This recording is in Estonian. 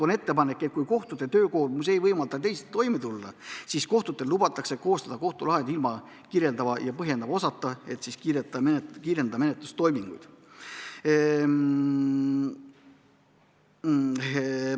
On ettepanek, et kui kohtute töökoormus ei võimalda teisiti toime tulla, siis lubatakse neil koostada kohtulahend ilma kirjeldava ja põhjendava osata, et menetlustoiminguid kiirendada.